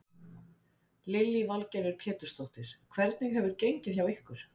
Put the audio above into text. Lillý Valgerður Pétursdóttir: Hvernig hefur gengið hjá ykkur?